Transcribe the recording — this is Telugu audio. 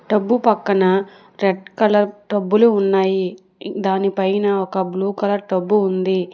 టబ్బు పక్కన రెడ్ కలర్ టబ్బులు ఉన్నాయి దాని పైన ఒక బ్లూ కలర్ టబ్బు ఉంది.